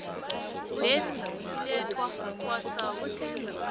lesi silethwa kwasouth